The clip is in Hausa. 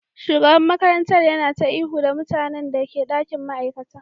Shugaban makarantar yana ta ihu da mutanen da ke dakin ma'aikata